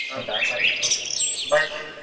ಹೌದಾ ಸರಿ okay bye bye .